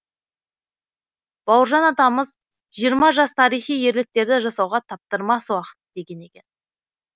бауыржан атамыз жас тарихи ерліктерді жасауға таптырмас уақыт деген екен